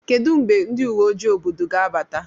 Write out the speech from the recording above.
Kedu mgbe ndị uwe ojii obodo ga-abata?